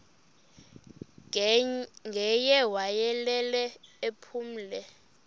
ngaye wayelele ephumle